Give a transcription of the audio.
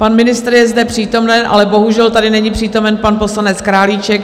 Pan ministr je zde přítomen, ale bohužel tady není přítomen pan poslanec Králíček.